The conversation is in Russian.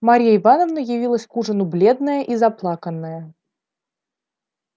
марья ивановна явилась к ужину бледная и заплаканная